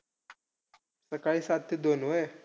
सकाळी सात ते दोन व्हयं.